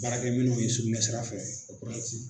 Baarakɛ minɛnw ni sugunɛ sira fɛ o kolɛti